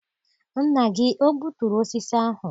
Nna gị o gbuturu osisi ahụ?